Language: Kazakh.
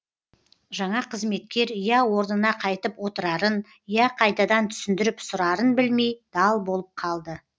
жаңа қызметкер я орнына қайтып отырарын я қайтадан түсіндіріп сұрарын білмей дал болып қалды